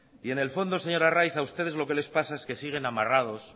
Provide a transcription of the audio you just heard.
en el fondo señor arraiz a ustedes lo que les pasa es que siguen amarrados